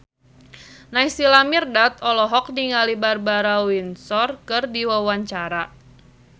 Naysila Mirdad olohok ningali Barbara Windsor keur diwawancara